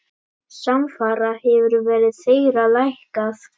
Samfara hefur verð þeirra lækkað.